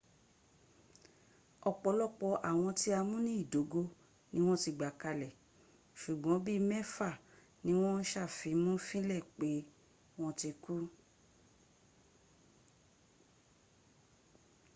ọ̀pọ̀lọpọ̀ àwọn tí a mú ní ìdógó ni wọ́n ti gbà kalẹ̀ ṣùgbọ́n bíi mẹ́fà ni wọ́n sàfimúnlẹ̀ pé wọ́n ti kú